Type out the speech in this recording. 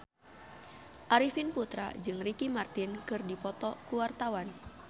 Arifin Putra jeung Ricky Martin keur dipoto ku wartawan